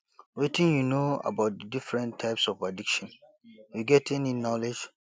wetin you know about di different types of addiction you get any knowledge